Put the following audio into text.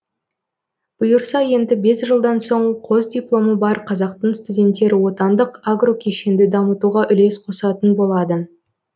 бұйырса енді бес жылдан соң қос дипломы бар қазақтың студенттері отандық агрокешенді дамытуға үлес қосатын болады